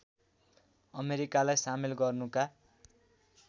अमेरिकालाई सामेल गर्नुका